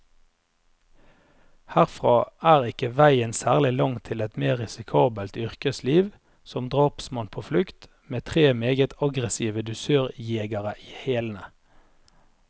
Herfra er ikke veien særlig lang til et mer risikabelt yrkesliv, som drapsmann på flukt, med tre meget aggressive dusørjegere i hælene.